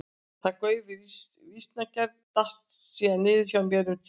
Þetta gauf við vísnagerð datt síðan niður hjá mér um tíma.